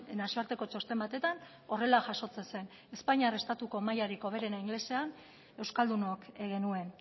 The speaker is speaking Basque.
nazioarteko txosten batetan horrela jasotzen zen espainiar estatuko mailarik hoberena ingelesean euskaldunok genuen